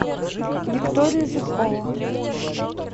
викторию зубкову